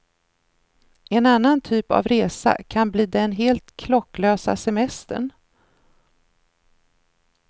En annan typ av resa kan bli den helt klocklösa semestern.